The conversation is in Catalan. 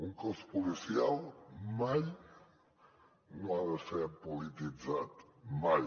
un cos policial mai no ha de ser polititzat mai